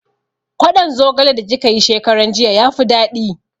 Kwaɗon zogale da kika yi shekaran jiya ya fi daɗi